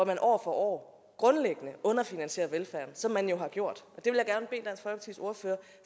man år for år grundlæggende underfinansierer velfærden som man har gjort